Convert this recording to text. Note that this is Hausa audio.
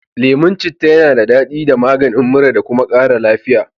Leman cita yana dadaɗi da da maganin mura. kuma kara lafiya.